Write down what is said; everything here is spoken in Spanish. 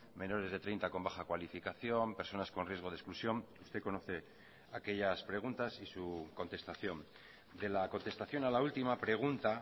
menores de treinta con baja cualificación personas con riesgo de exclusión usted conoce aquellas preguntas y su contestación de la contestación a la última pregunta